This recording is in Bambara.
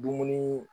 Dumuni